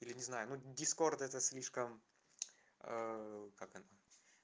или не знаю но дискорд это слишком как она